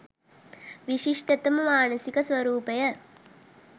විශිෂ්ටතම මානසික ස්වරූපය